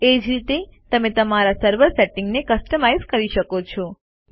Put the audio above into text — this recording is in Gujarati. એ જ રીતે તમે તમારા સર્વર સેટિંગ્સને કસ્ટમાઇઝ કરી શકો છો